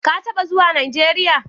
Ka taba zuwa Najeriya?